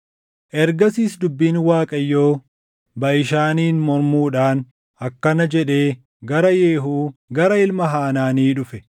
Ergasiis dubbiin Waaqayyoo Baʼishaaniin mormuudhaan akkana jedhee gara Yehuu gara ilma Hanaanii dhufe: